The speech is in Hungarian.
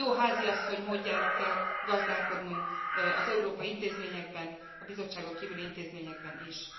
Jó háziasszony módjára kell gazdálkodnunk az európai intézményekben, a Bizottságon kívüli intézményekben is.